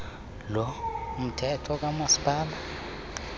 lo mthetho kamasipala